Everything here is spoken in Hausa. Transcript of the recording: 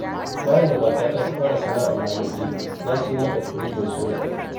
Bayan da matata ta fara sana'ar lamurje, na siyo mata firinjin sola.